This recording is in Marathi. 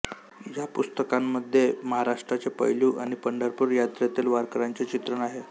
या पुस्तकांमध्ये महाराष्ट्राचे पैलू आणि पंढरपूर यात्रेतील वारकऱ्यांचे चित्रण आहे